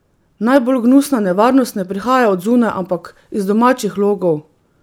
Najbolj gnusna nevarnost ne prihaja od zunaj, ampak iz domačih logov!